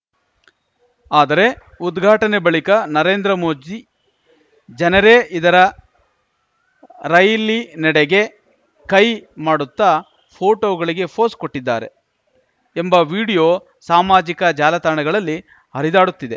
ಆದರೆ ಉದ್ಘಾಟನೆ ಬಳಿಕ ನರೇಂದ್ರ ಮೋದಿ ಜನರೇ ಇರದ ರೈಲಿನೆಡೆಗೆ ಕೈ ಮಾಡುತ್ತಾ ಫೋಟೋಗಳಿಗೆ ಪೋಸ್‌ ಕೊಟ್ಟಿದ್ದಾರೆ ಎಂಬ ವಿಡಿಯೋ ಸಾಮಾಜಿಕ ಜಾಲತಾಣಗಳಲ್ಲಿ ಹರಿದಾಡುತ್ತಿದೆ